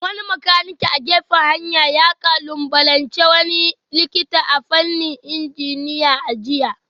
Wani makanike a gefen hanya ya kalubalanci wani likita a fannin injiniya a jiya